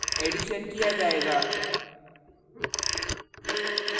addition किया जायेगा